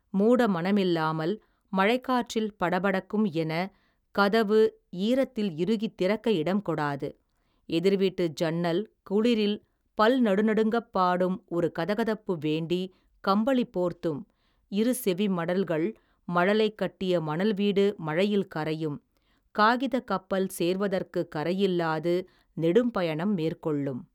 மூட மனமில்லாமல், மழைக்காற்றில், படபடக்கும் என் கதவு, ஈரத்தில் இறுகி திறக்க இடம் கொடாது, எதிர் வீட்டு சன்னல், குளிரில், பல் நடு நடுங்கப் பாடும் ஒரு கதகதப்பு வேண்டி கம்பளி போர்த்தும், இரு செவி மடல்கள், மழலை கட்டிய மணல் வீடு மழையில் கரையும், காகிதக் கப்பல் சேர்வதற்கு, கரையில்லாது, நெடும்பயணம் மேற்கொள்ளும்.